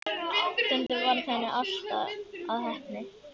Stundum varð henni allt að heppni.